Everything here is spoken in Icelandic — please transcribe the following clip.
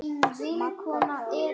Magga gáfu gatinu gætur.